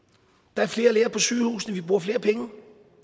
der er flere læger på sygehusene og vi bruger flere penge